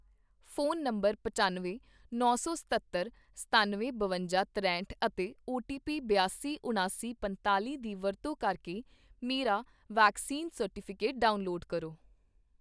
phone number ਪਚਾਨਵੇਂ, ਨੌ ਸੌ ਸਤੱਤਰ, ਸਤੱਨਵੇਂ, ਬਵੰਜਾ, ਤਰੇਹਟ ਅਤੇ ਓਟੀਪੀ ਬਿਆਸੀ, ਉਣਾਸੀ, ਪੰਤਾਲ਼ੀ ਦੀ ਵਰਤੋਂ ਕਰਕੇ ਮੇਰਾ ਵੈਕਸੀਨ ਸਰਟੀਫਿਕੇਟ ਡਾਊਨਲੋਡ ਕਰੋ